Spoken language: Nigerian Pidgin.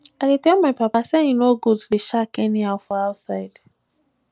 i dey tell my papa sey e no good to dey shak anyhow for outside